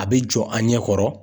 A bɛ jɔ an ɲɛ kɔrɔ.